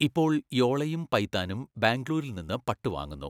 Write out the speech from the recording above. ഇപ്പോൾ യോളയും പൈത്താനും ബാംഗ്ലൂരിൽ നിന്ന് പട്ട് വാങ്ങുന്നു.